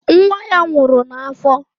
Nwa ya nwụrụ n'afọ.